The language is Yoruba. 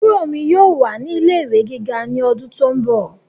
Àbúrò mi yóò wà ní ilé ìwé gíga ní ọdún tó ń bọ̀